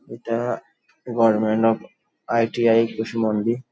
এটা government of ITI. Kushmandi--